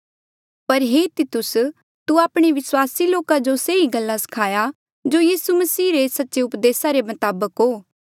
पर हे तितुस तू आपणे विस्वासी लोका जो से ही गल्ला सखाया जो यीसू मसीह रे सच्चे उपदेसा रे मताबक हो